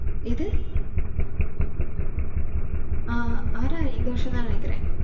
எது? ஆஹ் r r r இந்த வருஷம்தான் நினைக்குறேன்